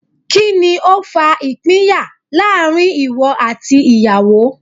Kíni ó fa ìpínyà láàrin ìwọ àti ìyàwó?